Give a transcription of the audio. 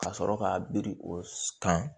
Ka sɔrɔ ka biri o kan